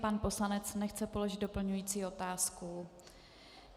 Pan poslanec nechce položit doplňující otázku.